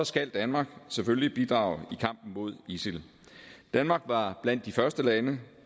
skal danmark selvfølgelig bidrage i kampen mod isil danmark var blandt de første lande